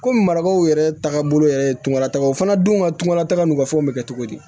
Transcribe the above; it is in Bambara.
Komi marabaaw yɛrɛ taagabolo yɛrɛ tun latagaw fana dun ka tunŋanata n'u ka fɛnw be kɛ cogo di